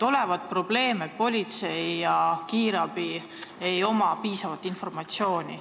Olevat probleem, et politseil ja kiirabil ei ole piisavalt informatsiooni.